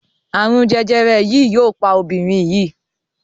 arun jẹjẹrẹ yii yóò pa Obìnrin yii.